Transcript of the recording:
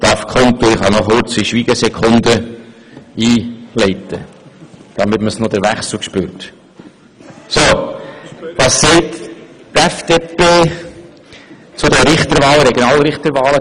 Ich kann noch eine Schweigesekunde einfügen, um den Wechsel deutlich zu machen Was sagt nun die FDP zu diesen Richterwahlen?